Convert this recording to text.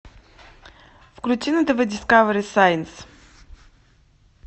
включи на тв дискавери сайнс